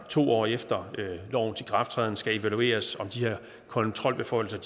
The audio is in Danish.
to år efter lovens ikrafttræden skal evalueres om de her kontrolbeføjelser